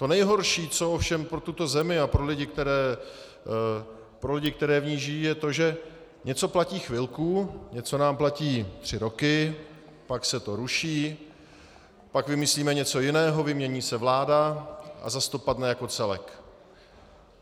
To nejhorší, co ovšem pro tuto zemi a pro lidi, kteří v ní žijí, je to, že něco platí chvilku, něco nám platí tři roky, pak se to ruší, pak vymyslíme něco jiného, vymění se vláda a zas to padne jako celek.